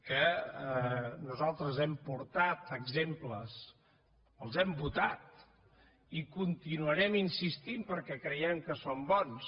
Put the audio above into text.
que nosaltres hem portat exemples els hem votat i hi continuarem insistint perquè creiem que són bons